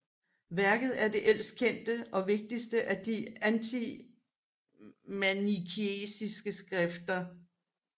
Værket er det ældste kendte og vigtigste af de antimanikeiske skriftene